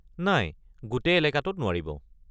নাই, গোটেই এলেকাটোত নোৱাৰিব।